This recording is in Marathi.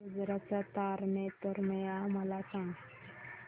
गुजरात चा तारनेतर मेळा मला सांग